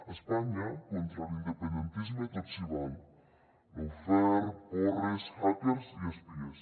a espanya contra l’independentisme tot s’hi val lawfare porres hackers i espies